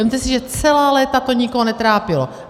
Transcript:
Vezměte si, že celá léta to nikoho netrápilo.